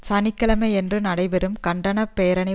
சனி கிழமையன்று நடைபெறும் கண்டன பேரணி